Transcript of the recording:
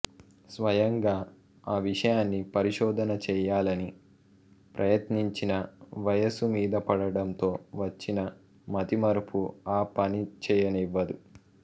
స్వయంగా ఆ విషయాన్ని పరిశోధన చేయాలని ప్రయత్నించినా వయసు మీదపడడంతో వచ్చిన మతిమరుపు ఆ పనిచేయనివ్వదు